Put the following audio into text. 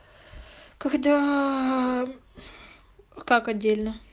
когда как отдельно